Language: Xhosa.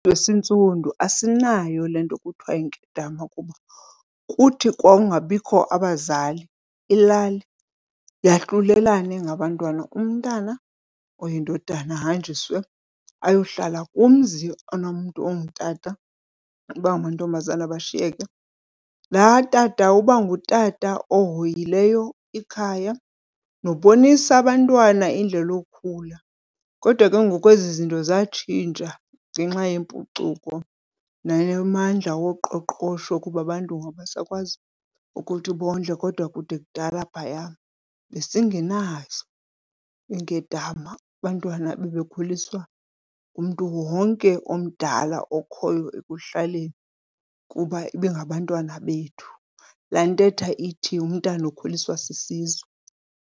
Esintsundu asinayo le nto kuthiwa yinkedama kuba kuthi kwawungabikho abazali ilali yahlulelane ngabantwana. Umntana oyindodana ahanjiswe ayohlala kumzi onomntu ongutata abangamantombazana bashiyeke. Laa tata uba ngutata ohoyileyo ikhaya nobonisa abantwana indlela okukhula. Kodwa ke ngoku ezi zinto zatshintsha ngenxa yempucuko namandla woqoqosho kuba abantu ngoku abasakwazi ukuthi bondle. Kodwa kude kudala phaya besingenazo iinkedama, abantwana bebekhuliswa ngumntu wonke omdala okhoyo ekuhlaleni kuba ibingabantwana bethu, laa ntetha ithi umntana ukhuliswa sisizwe.